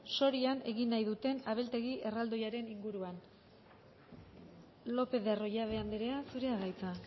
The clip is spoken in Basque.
sorian egin nahi duten abeltegi erraldoiaren inguruan lópez de arroyabe andrea zurea da hitza